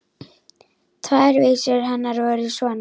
Tvær vísur hennar voru svona: